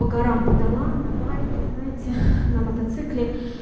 по горам по долам на байке знаете на мотоцикле